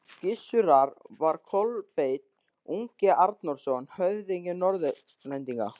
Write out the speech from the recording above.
Gissurar var Kolbeinn ungi Arnórsson, höfðingi Norðlendinga.